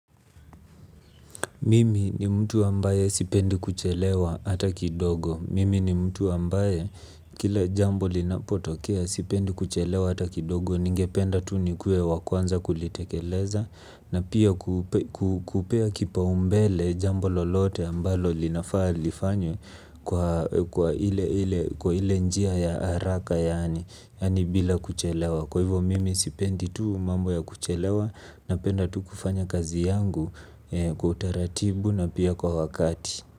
Mimi ni mtu ambaye sipendi kuchelewa hata kidogo. Mimi ni mtu ambaye kila jambo linapotokea sipendi kuchelewa hata kidogo. Ningependa tu nikuwe wa kwanza kulitekeleza na pia kupea kipaumbele jambo lolote ambalo linafaa lifanywe kwa ile njia ya haraka yaani bila kuchelewa. Kwa hivyo mimi sipendi tu mambo ya kuchelewa napenda tu kufanya kazi yangu kwa utaratibu na pia kwa wakati.